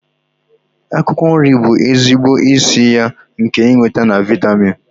Akwụkwọ nri bụ ezigbo isi iyi nke ịnweta na vịatamin.